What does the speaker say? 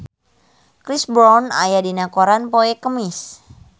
Chris Brown aya dina koran poe Kemis